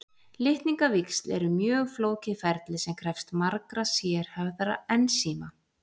Litningavíxl eru mjög flókið ferli sem krefst margra sérhæfðra ensíma.